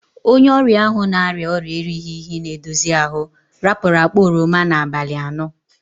Onye oria ahu na-aria oria erighi- ihi- na-edozi ahu rapuru akpa oroma n'abali ano.